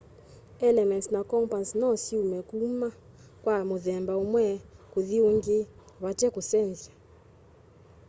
elements na compounds no syume kuma kwa muthemba umwe kuthi uungi vate kusenzya